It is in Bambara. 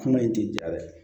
Kuma in tɛ ja dɛ